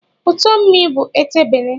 Ụtọ mmii bụ etebele